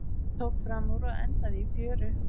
Tók framúr og endaði í fjöru